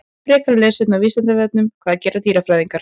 Frekara lesefni á Vísindavefnum: Hvað gera dýrafræðingar?